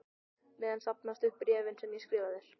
meðan safnast upp bréfin sem ég skrifa þér.